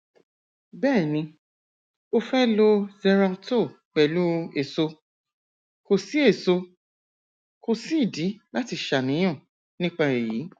bẹẹ ni o fẹ lo xeralto pẹlú èso kò sí èso kò sí ìdí láti ṣàníyàn nípa èyí